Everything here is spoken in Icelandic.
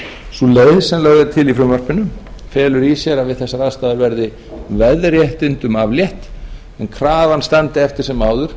sú leið sem lögð er til í frumvarpinu felur í sér að við þessar aðstæður verði veðréttindum aflétt en krafan standi eftir sem áður